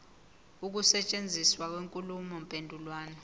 ukusetshenziswa kwenkulumo mpendulwano